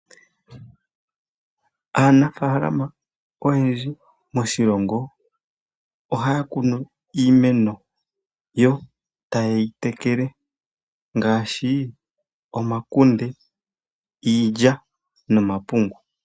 Aanafaalama oyendji moshilongo ohaya kunu iimeno, yo tayeyi tekele ngaashi omakunde, iilya nomakunde.